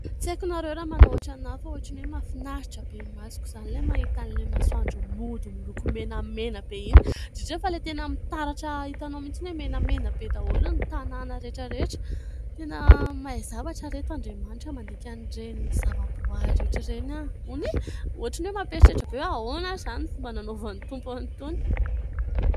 Tsy haiko ianareo raha manao ohatrana fa ohatran'ny hoe mahafinaritra be ny masoko izany ilay mahitan'ilay masoandro mody miloko menamena be, indrindra izao fa ilay tena mitaratra hitanao mihitsiny hoe menamena be daholo ny tanàna rehetrarehetra. Tena mahay zavatra ireto Andriamanitra mandinika an'ireny zava-boaary rehetra ireny aho hony e ! ohatrin'ny hoe mampieritreritra be ahoana izany fomba nanaovan'ny Tompo an'itony ?